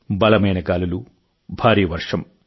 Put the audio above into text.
బలమైన గాలులు భారీ వర్షం